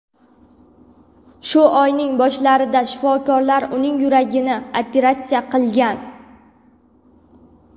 Shu oyning boshlarida shifokorlar uning yuragini operatsiya qilgan.